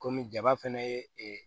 Kɔmi jaba fɛnɛ ye ee